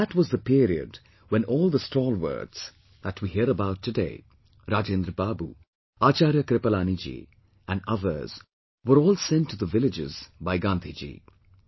And that was the period when all the stalwarts, that we hear about today Rajendra Babu, Acharya Kripalani Ji, and others were all sent to the villages by Gandhi Ji